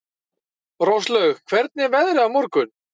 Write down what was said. Róslaug, hvernig er veðrið á morgun?